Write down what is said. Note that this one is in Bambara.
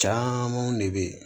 Caaman de be yi